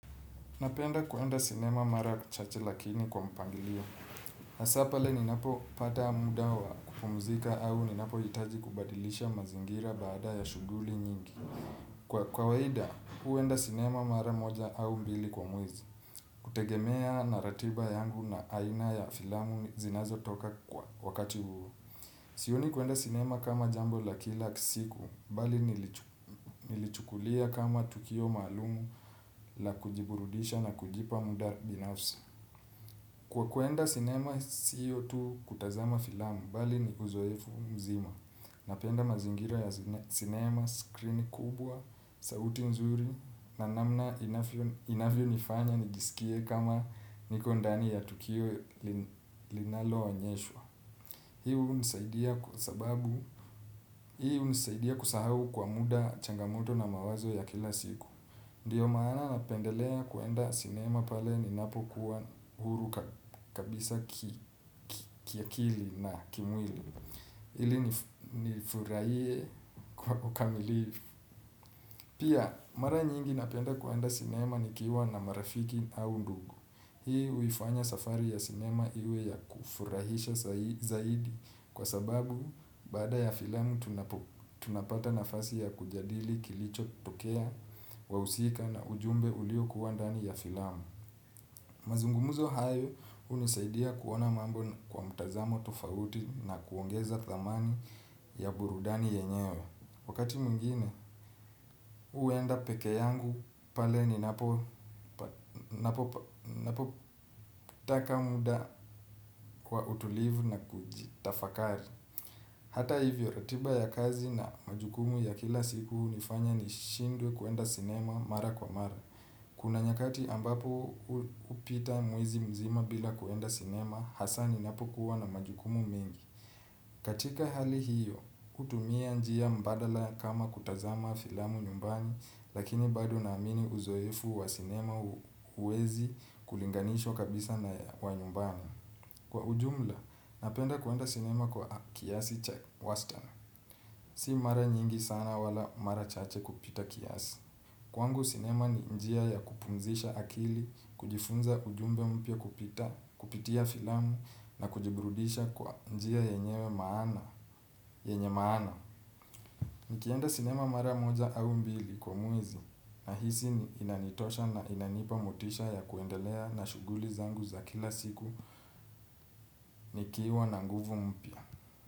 Napenda kuenda sinema mara chache lakini kwa mpangilio. Hasa pale ninapo pata muda wa kupumzika au ninapohitaji kubadilisha mazingira baada ya shughuli nyingi. Kwa kawaida, huenda sinema mara moja au mbili kwa muizi. Kutegemea na ratiba yangu na aina ya filamu zinazotoka kwa wakati huu. Sioni kuenda sinema kama jambo la kila siku, bali nilichukulia kama tukio maalumu la kujiburudisha na kujipa muda binafsi. Kwa kuenda sinema, sio tu kutazama filamu, bali ni uzoefu mzima. Napenda mazingira ya sinema, screen kubwa, sauti nzuri, na namna inavyonifanya nijisikie kama niko ndani ya tukio linaloonyeshwa. Hi hunisaidia kusahau kwa muda changamoto na mawazo ya kila siku. Ndio maana napendelea kuenda sinema pale ninapokuwa huru kabisa kiakili na kimwili. Ili nifurahie kwa ukamilifu. Pia, mara nyingi napenda kuenda sinema nikiwa na marafiki au ndugu. Hii huifanya safari ya sinema iwe ya kufurahisha zaidi kwa sababu baada ya filamu tunapata nafasi ya kujadili kilichotokea, wahusika na ujumbe uliokuwa ndani ya filamu. Mazungumzo hayo hunisaidia kuona mambo kwa mtazamo tofauti na kuongeza thamani ya burudani yenyewe. Wakati mwingine, huenda peke yangu pale ninapotaka muda kwa utulivu na kujitafakari. Hata hivyo ratiba ya kazi na majukumu ya kila siku hunifanya nishindwe kuenda sinema mara kwa mara. Kuna nyakati ambapo hupita mwezi mzima bila kuenda sinema, hasa ninapokuwa na majukumu mingi. Katika hali hiyo, hutumia njia mbadala kama kutazama filamu nyumbani, lakini bado naamini uzoefu wa sinema huwezi kulinganishwa kabisa na wa nyumbani. Kwa ujumla, napenda kuenda sinema kwa kiasi cha wastani. Si mara nyingi sana wala mara chache kupita kiasi. Kwangu sinema ni njia ya kupumzisha akili, kujifunza ujumbe mpya kupita, kupitia filamu na kujiburudisha kwa njia yenyewe maana, yenye maana. Nikienda sinema mara moja au mbili kwa mwezi nahisi ni inanitosha na inanipa motisha ya kuendelea na shughuli zangu za kila siku nikiwa na nguvu mpya.